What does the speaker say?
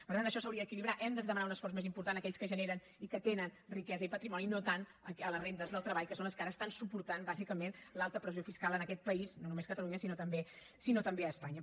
per tant això s’hauria d’equilibrar hem de demanar un esforç més important a aquells que generen i que tenen riquesa i patrimoni i no tant a les rendes del treball que són les que ara estan suportant bàsicament l’alta pressió fiscal en aquest país no només a catalunya sinó també a espanya